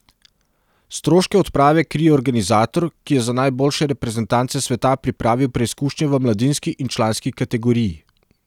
Stroške odprave krije organizator, ki je za najboljše reprezentance sveta pripravil preizkušnje v mladinski in članski kategoriji.